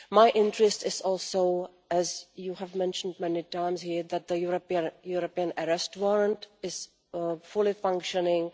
My interest is also, as you have mentioned many times here, to have the European Arrest Warrant fully functioning.